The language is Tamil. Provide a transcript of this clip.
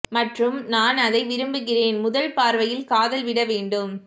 மற்றும் நான் அதை விரும்புகிறேன் முதல் பார்வையில் காதல் விட வேண்டும்